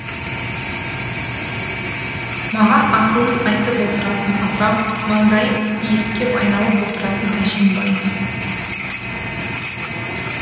маған ақылын айтып отыратын апам маңдайым иіскеп айналып отыратын әжем бар